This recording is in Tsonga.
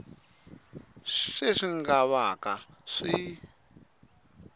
sweswi swi nga vaka swi